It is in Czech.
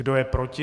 Kdo je proti?